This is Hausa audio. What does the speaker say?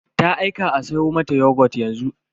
Ta aika a siyo mata yogut yanzu.